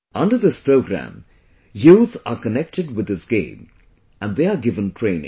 Under this program, youth are connected with this game and they are given training